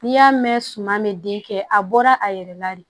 N'i y'a mɛn suman bɛ den kɛ a bɔra a yɛrɛ la de